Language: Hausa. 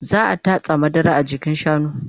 Za'a tatsa madara a jikin shanun